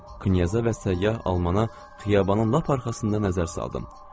Knyaz və səyyah Almanın xiyabanın lap arxasında nəzər saldım.